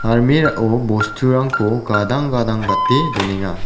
armera o bosturangko gadang gadang gate donenga.